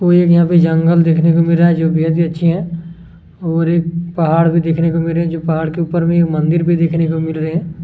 और एक यहाँ पे जंगल देखने को मिल रहे है जो बेहद ही अच्छे है और एक पहाड़ भी देखने को मिल रहे है जो पहाड़ के ऊपर एक मंदिर भी देखने को मिल रहे है।